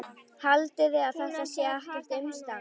Haldiði að þetta sé ekkert umstang?